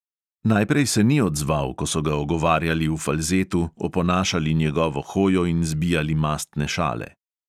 Najprej se ni odzval, ko so ga ogovarjali v falzetu, oponašali njegovo hojo in zbijali mastne šale.